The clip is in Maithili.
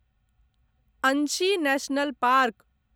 Anshi national park